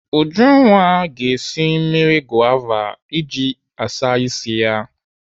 Ujunwa ga-esi mmiri gova iji ịsa ịsị ya.